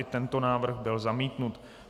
I tento návrh byl zamítnut.